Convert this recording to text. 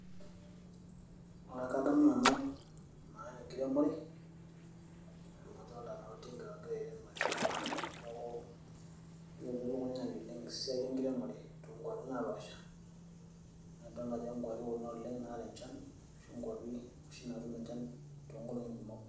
aa kadamu nanu aa enkiremore amu adolta naa oltinka ogira airem olchamba neeku kelotu elukunya ai oleng esiai enkiremore toonkuapi napaasha naa idol naa ajo nkuapi kuna oleng naata enchan ashu inkuapi oshi naatum enchan toonkolong'i kumok.